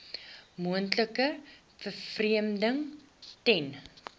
moontlike vervreemding ten